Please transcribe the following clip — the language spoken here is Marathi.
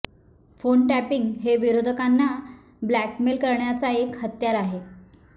फोन टॅपिंग हे विरोधकांना ब्लॅकमेल करण्याचा एक हत्यार आहे